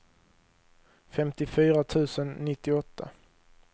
femtiofyra tusen nittioåtta